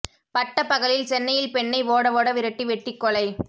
பட்ட பகலில் சென்னையில் பெண்ணை ஓட ஓட விரட்டி வெட்டி கொலை